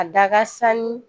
A da ka sanni